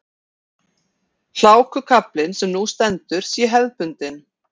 Hlákukaflinn sem nú stendur sé hefðbundinn